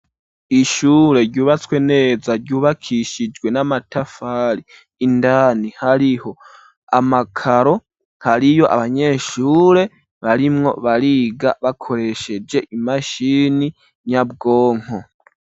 Ishure ryubatswe neza ryubakishijwe n'amatafari indani hariho amakaro hariyo abanyeshure barimwo bariga bakoresheje imashini nyabwonko.